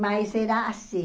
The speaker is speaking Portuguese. Mas era assim.